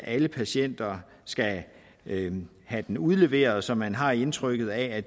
alle patienter skal have have den udleveret så man har indtrykket af at